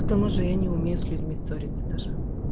к тому же я не умею с людьми ссориться даже